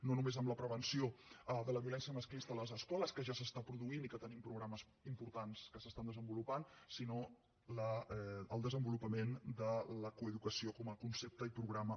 no només amb la prevenció de la violència masclista a les escoles que ja es produeix i tenim programes importants que es desenvolupen sinó el desenvolupament de la coeducació com a concepte i programa